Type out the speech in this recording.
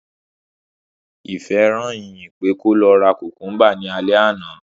Ìfẹ́ rán Ìyìn pé kó lọ ra kùmkúmbà ní alẹ́ àná